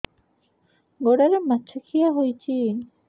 ଗୋଡ଼ରେ ମାଛଆଖି ହୋଇଛି